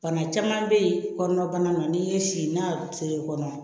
Bana caman bɛ yen kɔnɔnabana na n'i ye si n'a feere kɔnɔ